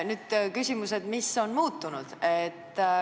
Nüüd on küsimus, mis on muutunud.